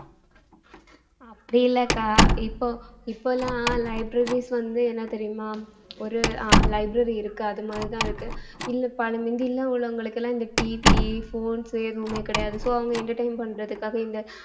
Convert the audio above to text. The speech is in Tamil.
அப்படி இல்லக்கா இப்போ இப்போலாம் libraries வந்து என்ன தெரியுமா ஒரு அஹ் library இருக்கு அது மாதிரிதான் இருக்கு இல்லை பல~ முந்தி எல்லாம் உள்ளவங்களுக்கு எல்லாம் இந்த TVphones எதுவுமே கிடையாது so அவங்க entertain பண்றதுக்காக இந்த